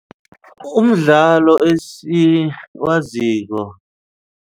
Umdlalo esiwaziko.